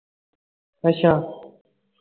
ਅੱਛਾ